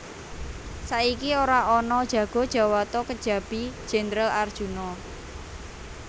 Saiki ora ana jago jawata kejabi Jendral Arjuna